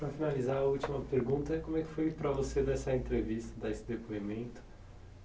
Para finalizar, a última pergunta é como é que foi para você dar essa entrevista, dar esse depoimento?